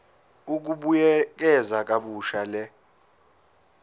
ukubuyekeza kabusha le